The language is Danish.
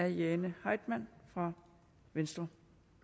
jane heitmann fra venstre